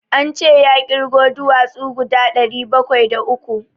An ce ya ƙirgo duwatsu guda ɗari bakwai da uku.